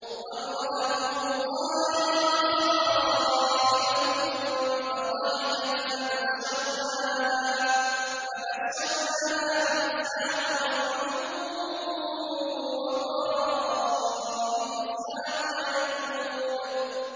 وَامْرَأَتُهُ قَائِمَةٌ فَضَحِكَتْ فَبَشَّرْنَاهَا بِإِسْحَاقَ وَمِن وَرَاءِ إِسْحَاقَ يَعْقُوبَ